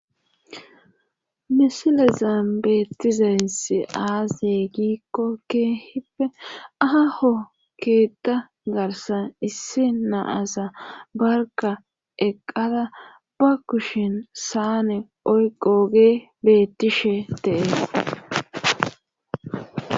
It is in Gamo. misilezan beetizaysi aaze gikko khippe aa lho keetta garsan issi na'aza barka eqqada ba kushen saane oyqogee bettishe de'ees